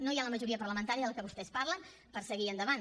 no hi ha la majoria parlamentària de la qual vostès parlen per seguir endavant